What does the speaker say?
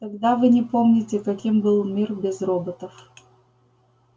тогда вы не помните каким был мир без роботов